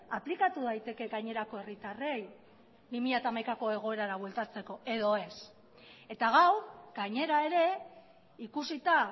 aplikatu daiteke gainerako herritarrei bi mila hamaikako egoerara bueltatzeko edo ez eta gaur gainera ere ikusita